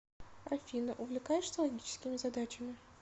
афина увлекаешься логическими задачами